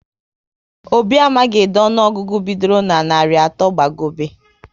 Obi amaghị ede ọnụọgụgụ bidoro na narị atọ gba gobe